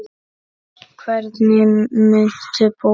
Hvernig muntu búa?